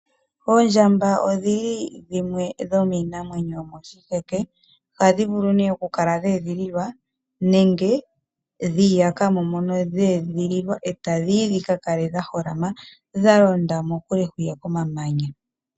Oondjamba odhili dhimwe dhomiinamwenyo yomoshiheke ohadhi vulu oku kala dhe edhililwa nenge dhi iyakamo mono dhe edhililwa etadhi yi dhika kale dha holama dhalonda mokule hwiya komamanya.